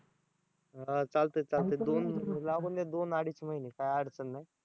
हां चालतंय चालतंय लागूद्यात दोन अडीच महिने काय अडचण नाही.